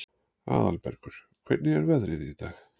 Aðalbergur, hvernig er veðrið í dag?